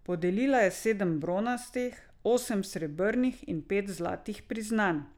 Podelila je sedem bronastih, osem srebrnih in pet zlatih priznanj.